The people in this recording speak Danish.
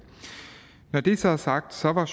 når det så er sagt var